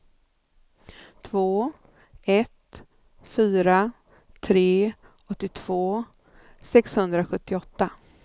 två ett fyra tre åttiotvå sexhundrasjuttioåtta